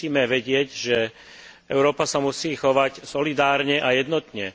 My musíme vedieť, že Európa sa musí chovať solidárne a jednotne.